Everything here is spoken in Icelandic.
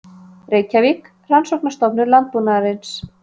Reykjavík, Rannsóknastofnun landbúnaðarins.